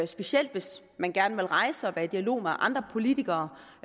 specielt hvis man gerne vil rejse og være i dialog med andre politikere